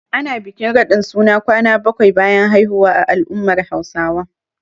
Ana bikin raɗin suna kwana bakwai bayan haihuwa a al'ummar Hausawa.